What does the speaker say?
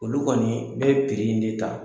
Olu kɔni bɛ piri in de ta.